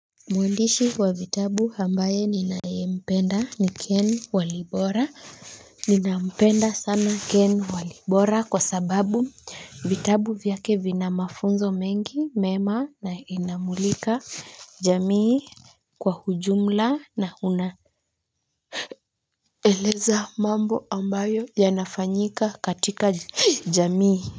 Mwandishi wa vitabu ambaye ninayempenda ni ken walibora ninampenda sana ken walibora kwa sababu vitabu vyake vina mafunzo mengi mema na inamulika jamii kwa ujumla na unaeleza mambo ambayo yanafanyika katika jamii.